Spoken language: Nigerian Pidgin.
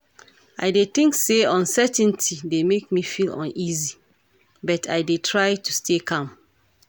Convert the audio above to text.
I dey think say uncertainty dey make me feel uneasy, but i dey try to stay calm.